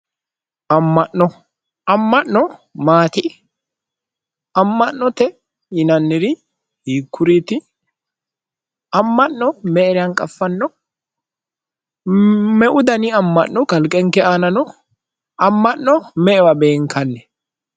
Amma'no amma'no maati amma'note yinanniri hiikkuriiti amma'no me"era hanqaffanno me"u dani amma'nokaqenke aanano amma'no me"ewa beenkanni